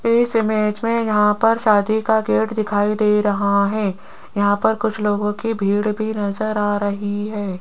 इस इमेज में यहां पर शादी का गेट दिखाई दे रहा है यहां पर कुछ लोगों की भीड़ भी नजर आ रही है।